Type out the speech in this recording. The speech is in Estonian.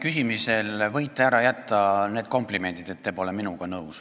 Küsimisel võite te ära jätta need komplimendid, et te pole minuga nõus.